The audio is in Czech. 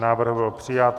Návrh byl přijat.